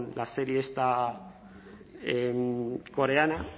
la serie esta coreana